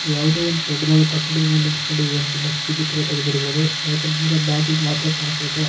ಯಾವುದೊ ಒಂದು ದೊಡ್ಡದಾದ ಕಟ್ಟಡದ ಮೇಲೆ ನಿಂತುಕೊಂಡು ಈ ಚಿತ್ರ ತೆಗೆದಿರಬಹುದು ಯಾಕಂತಂದ್ರೆ ಬ್ಯಾಕ್ ದು ಮಾತ್ರ ಕಾಣಿಸ್ತಾಯಿತೇ.